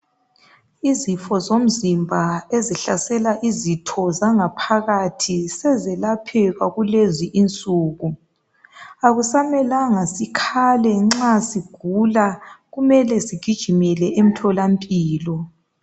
Izifo zomzimba ezihlasela izitho zangaphakathi sezelapheka kulezi izinsuku. Akusamelanga sikhale nxa sigula kumele sigijimele emtholampilo.